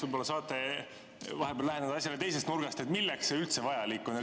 Võib-olla saate vahepeal läheneda asjale teisest nurgast: milleks see üldse vajalik on?